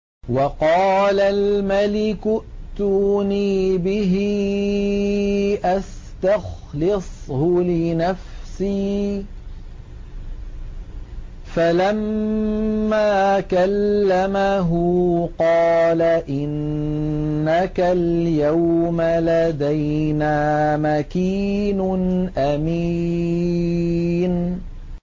وَقَالَ الْمَلِكُ ائْتُونِي بِهِ أَسْتَخْلِصْهُ لِنَفْسِي ۖ فَلَمَّا كَلَّمَهُ قَالَ إِنَّكَ الْيَوْمَ لَدَيْنَا مَكِينٌ أَمِينٌ